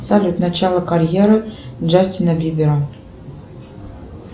салют начало карьеры джастина бибера